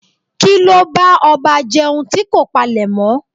Kíló bá ọba jẹun tí kò palèmọ́?